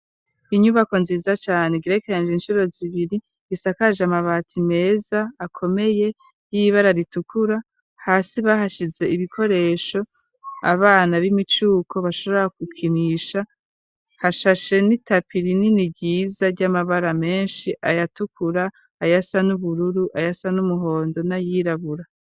Inyubako nziza cane rigerekeranye inshiro zibiri isakaje amabati meza akomeye y'ibara ritukura hasi bahashize ibikoresho abana b'imicuko bashobora kukinisha hashashe n'itapiri nini ryiza ry'amabara menshi ayatukura ayasa n'ubururu ayasa n'umuhondo nay'irabura.